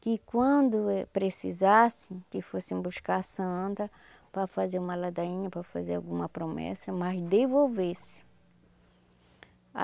Que quando precisassem, que fossem buscar a Santa para fazer uma ladainha, para fazer alguma promessa, mas devolvesse.